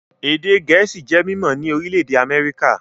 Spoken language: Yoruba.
Èdè Gẹ̀ẹ́sì jẹ́ mímọ́ ní orílẹ̀-èdè Amẹ́ríkà